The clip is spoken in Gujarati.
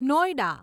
નોઈડા